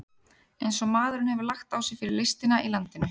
Eins og maðurinn hefur lagt á sig fyrir listina í landinu!